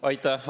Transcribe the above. Aitäh!